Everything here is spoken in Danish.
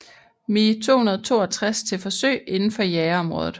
Me 262 til forsøg indenfor jagerområdet